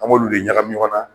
An b'olu de ɲagami ɲɔgɔn na